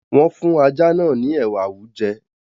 wọ́n fún ajá náà ní “ ẹ̀wà awújẹ”.